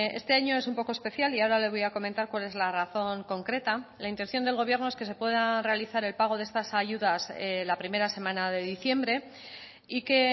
este año es un poco especial y ahora le voy a comentar cuál es la razón concreta la intención del gobierno es que se pueda realizar el pago de estas ayudas la primera semana de diciembre y que